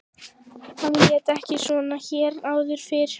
Hann lét ekki svona hér áður fyrr.